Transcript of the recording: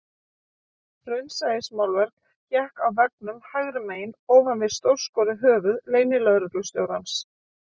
Raunsæismálverk hékk á veggnum hægra megin ofan við stórskorið höfuð leynilögreglustjórans